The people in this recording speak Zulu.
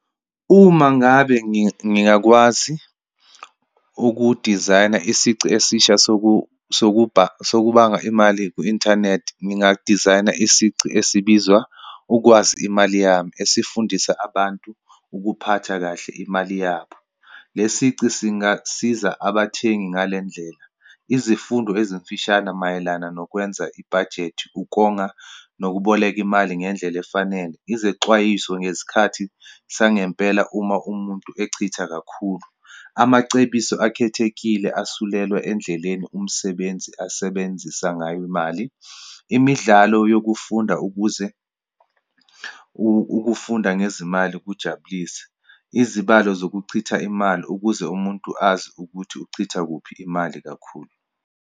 Uma ngabe ngingakwazi ukudizayina isici esisha sokubanga imali kwi-inthanethi, ngingadizayina isici esibizwa, ukwazi imali yami, esifundisa abantu ukuphatha kahle imali yabo. Le sici singasiza abathengi ngale ndlela, izifundo ezimfishane mayelana nokwenza ibhajethi, ukonga, nokuboleka imali ngendlela efanele, izexwayiso ngesikhathi sangempela, uma umuntu echitha kakhulu, amacebiso akhethekile asuselwa endleleni umsebenzi asebenzisa ngayo imali, imidlalo yokufunda, ukuze ukufunda ngezimali kujabulise, izibalo zokuchitha imali ukuze umuntu azi ukuthi uchitha kuphi imali kakhulu.